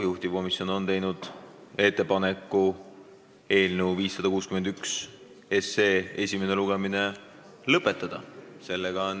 Juhtivkomisjon on teinud ettepaneku eelnõu 561 esimene lugemine lõpetada.